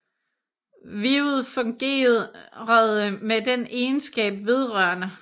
Wivet fungerede med den egenskab vedr